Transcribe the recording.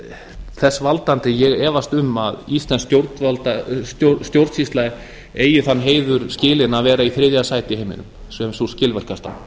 er þess valdandi að ég efast um að íslensk stjórnsýsla eigi þann heiður skilinn að vera í þriðja sæti í heiminum sem sú skilvirkasta